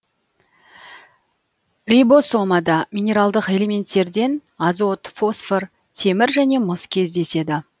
рибосомада минералдық элементтерден азот фосфор темір және мыс кездеседі